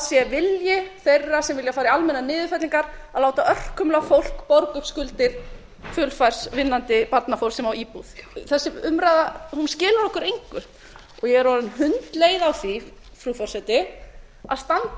sé vilji þeirra sem vilja fara í almennar niðurfellingar að láta örkumla fólk borga upp skuldir fullfærs vinnandi barnafólks sem á íbúð þessi umræða skilar okkur engu ég er orðin hundleið á því frú forseti að standa